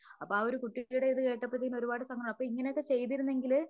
അപ്പോ ആ ഒരു കുട്ടിയുടെ ഇത് കേട്ടപ്പത്തേനും ഒരുപാട് സങ്കടം അപ്പോ ഇങ്ങനെയൊക്കെ ചെയ്തിരുന്നെങ്കില്